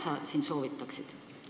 Mida sa soovitaksid?